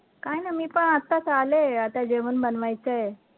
काही नाही मी पण आताच आले आता जेवण बनवायचं